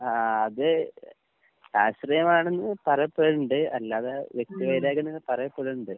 ആഹ് അത് രാഷ്ട്രീയമാണെന്ന് പറയപ്പെട്ണ്ട്. അല്ലാതെ വ്യക്തിവൈരാഗ്യംന്നൊക്കെ പറയപ്പെട്ണ്ട്.